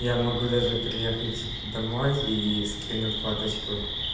я могу даже приехать домой ии скину фоточку